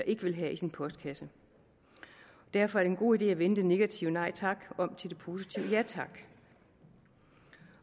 ikke vil have i sin postkasse derfor er en god idé at vende det negative nej tak om til det positive ja tak